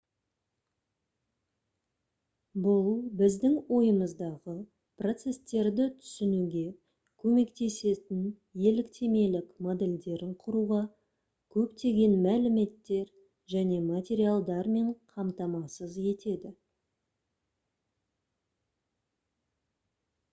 бұл біздің ойымыздағы процестерді түсінуге көмектесетін еліктемелік модельдерін құруға көптеген мәліметтер және материалдармен қамтамасыз етеді